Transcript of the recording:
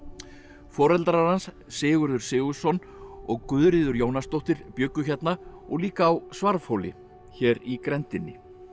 foreldrar hans Sigurður Sigurðsson og Guðríður Jónasdóttur bjuggu hérna og líka á Svarfhóli hér í grenndinni